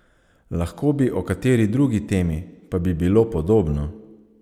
Lahko bi o kateri drugi temi, pa bi bilo podobno.